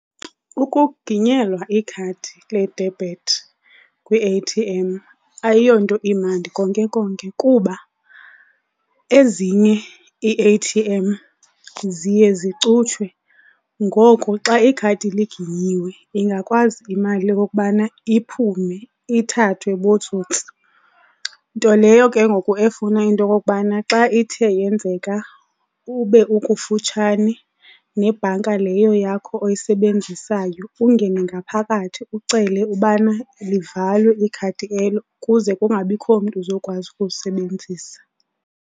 Ukuginyelwa ikhadi le-debit kwi-A_T_M ayiyonto imandi konke konke kuba ezinye ii-A_T_M ziye zicutshwe, ngoku xa ikhadi liginyiwe ingakwazi imali okokubana iphume ithathwe bootsotsi. Nto leyo ke ngoku efuna into yokokubana xa ithe yenzeka ube ukufutshane nebhanka leyo yakho oyisebenzisayo ungene ngaphakathi ucele ubana livalwe ikhadi elo kuze kungabikho mntu uzokwazi ukulisebenzisa.